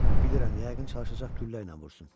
Bilirəm, yəqin çalışacaq güllə ilə vursun.